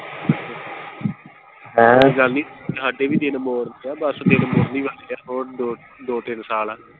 ਹੈਂ, ਕੋਈ ਗੱਲ ਨੀ ਹਾਡੇ ਵੀ ਦਿਨ ਚ ਆ ਬਸ ਦਿਨ ਮੁੜਨ ਹੀ ਵਾਲੇ ਆ ਹੋਰ ਦੋ ਤਿੰਨ ਸਾਲ ਆ।